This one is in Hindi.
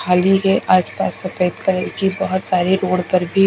खाली के आसपास सफेद कलर की बहोत सारी रोड पर भी--